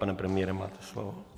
Pane premiére, máte slovo.